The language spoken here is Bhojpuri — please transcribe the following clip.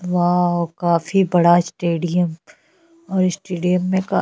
वॉव काफी बड़ा स्टेडिम और स्टेडियम में का --